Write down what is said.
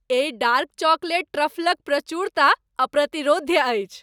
एहि dark chocolate ट्रफलक प्रचुरता अप्रतिरोध्य अछि।